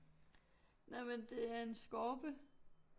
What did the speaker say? Nej men det er en skorpe